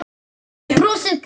Brosið hvarf.